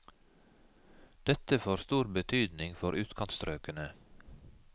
Dette får stor betydning for utkantstrøkene.